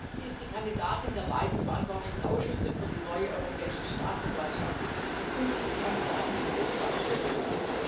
Sie ist die Kandidatin der beiden verantwortlichen Ausschüsse für die neue Europäische Staatsanwaltschaft, und sie ist die Kandidatin des Auswahlgremiums.